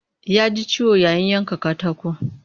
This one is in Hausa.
Ya ji ciwo yayin yanka katako